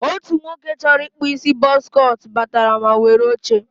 otu nwoke chọrọ ịkpụ isi bọz cọt batara ma were oche.